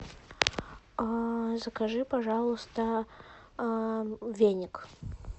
закажи пожалуйста веник